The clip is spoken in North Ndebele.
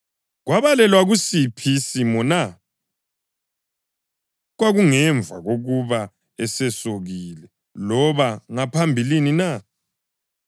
Kwabalelwa kusiphi isimo na? Kwakungemva kokuba esesokile, loba ngaphambilini na?